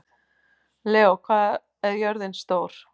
Leó, hvað er jörðin stór?